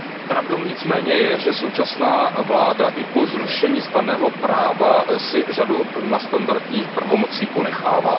Pravdou nicméně je, že současná vláda i po zrušení stanného práva si řadu nadstandardních pravomocí ponechává.